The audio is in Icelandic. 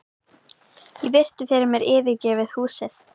Ég virti fyrir mér yfirgefið húsið.